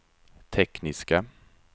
tekniska